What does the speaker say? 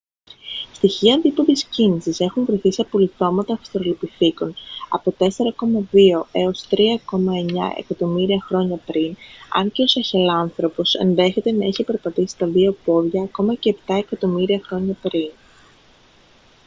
στοιχεία δίποδης κίνησης έχουν βρεθεί σε απολιθώματα αυστραλοπιθήκων από 4,2 - 3,9 εκατομμύρια χρόνια πριν αν και ο σαχελάνθρωπος ενδέχεται να είχε περπατήσει στα δυο πόδια ακόμα και επτά εκατομμύρια χρόνια πριν